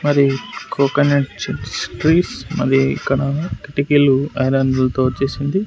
మరి coconut chips trees మళ్లీ ఇక్కడ కిటికీలు ఐరన్ల తో చేసింది.